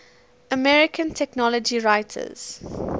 american technology writers